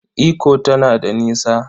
Ikko tana da nisa?